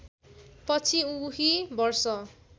पछि उही वर्ष